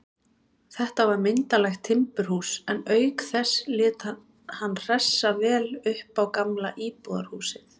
Þetta var myndarlegt timburhús, en auk þess lét hann hressa vel upp á gamla íbúðarhúsið.